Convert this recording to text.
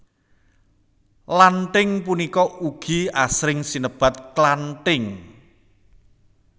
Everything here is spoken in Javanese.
Lanthing punika ugi asring sinebat klanthing